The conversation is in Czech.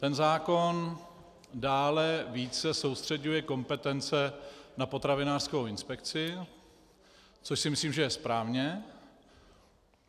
Ten zákon dále více soustřeďuje kompetence na potravinářskou inspekci, což si myslím, že je správně.